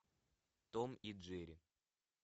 том и джерри